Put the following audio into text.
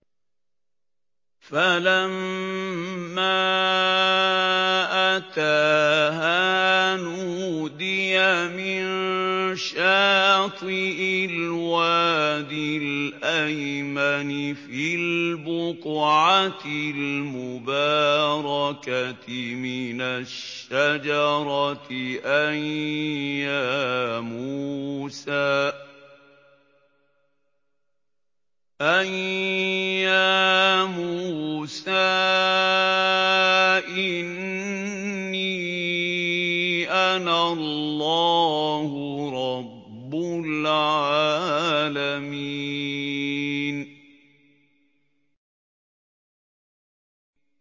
فَلَمَّا أَتَاهَا نُودِيَ مِن شَاطِئِ الْوَادِ الْأَيْمَنِ فِي الْبُقْعَةِ الْمُبَارَكَةِ مِنَ الشَّجَرَةِ أَن يَا مُوسَىٰ إِنِّي أَنَا اللَّهُ رَبُّ الْعَالَمِينَ